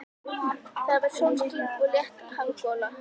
Það var sólskin og létt hafgola.